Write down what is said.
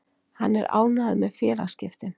Hann er ánægður með félagaskiptin.